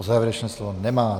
O závěrečné slovo nemá.